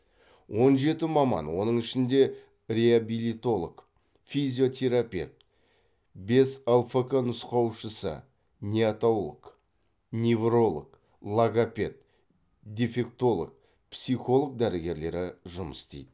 он жеті маман оның ішінде реабилитолог физиотерапепт бес лфкі нұсқаушысы неотолог невролог логопед дефектолог психолог дәрігерлері жұмыс істейді